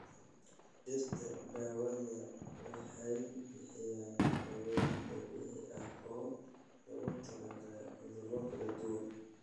Dhirta daawada waxay bixiyaan daaweyn dabiici ah oo loogu talagalay cudurro kala duwan.